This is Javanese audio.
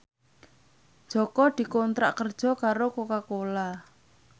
Jaka dikontrak kerja karo Coca Cola